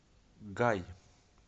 гай